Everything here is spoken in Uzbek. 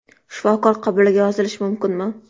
Shifokor qabuliga yozilish mumkinmi?